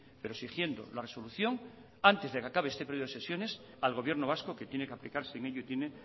pero exigiendo la resolución antes de que acabe este periodo de sesiones al gobierno vasco que tiene que aplicarse y en ello tiene